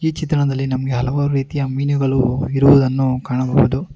ಈ ಚಿತ್ರಣದಲ್ಲಿ ನಮಗೆ ಹಲವಾರು ರೀತಿಯ ಮೀನುಗಳು ಇರುವುದನ್ನು ಕಾಣಬಹುದು.